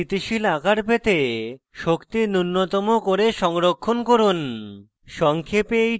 সবচেয়ে স্থিতিশীল আকার পেতে শক্তি নুন্যতম করে সংরক্ষণ করুন